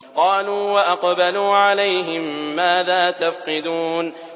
قَالُوا وَأَقْبَلُوا عَلَيْهِم مَّاذَا تَفْقِدُونَ